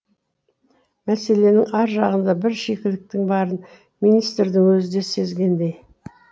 мәселенің ар жағында бір шикіліктің барын министрдің өзі де сезгендей